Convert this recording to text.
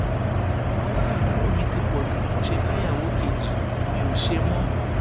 wàhálà ìyàwó mi ti pọ jù ni mo ṣe fẹyàwó kejì mi ò ṣe mọ